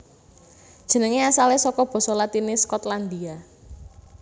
Jenengé asalé saka basa Latiné Skotlandia